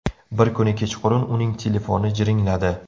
Bir kuni kechqurun uning telefoni jiringladi.